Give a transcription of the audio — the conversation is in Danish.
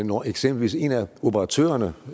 når eksempelvis en af operatørerne